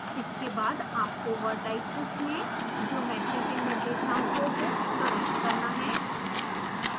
इसके बाद आपको vertices में ज्योमेट्री के निर्देशांकों को प्रविष्ट करना है